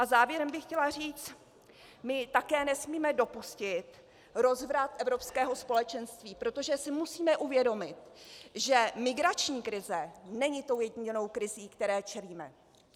A závěrem bych chtěla říct: my také nesmíme dopustit rozvrat evropského společenství, protože si musíme uvědomit, že migrační krize není tou ojedinělou krizí, které čelíme.